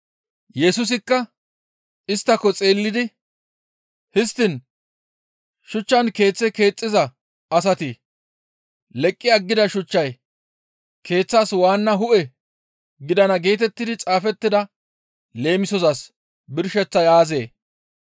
Yesusikka, «Isttako xeellidi, ‹Histtiin shuchchan keeththe keexxiza asati leqqi aggida shuchchay keeththas waanna hu7e gidana geetettidi xaafettida leemisozas birsheththay aazee?›